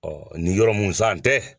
ni yɔrɔ mun san tɛ.